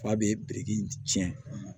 F'a bɛ biriki in tiɲɛ